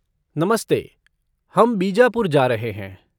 नमस्ते! हम बीजापुर जा रहे हैं।